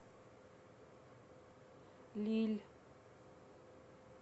лилль